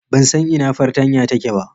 Ban san ina fartanya take ba.